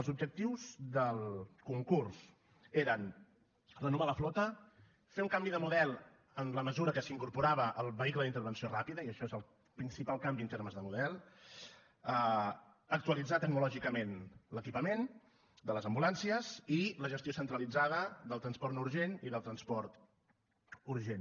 els objectius del concurs eren renovar la flota fer un canvi de model en la mesura que s’incorporava el vehicle d’intervenció ràpida i això és el principal canvi en termes de model actualitzar tecnològicament l’equipament de les ambulàncies i la gestió centralitzada del transport no urgent i del transport urgent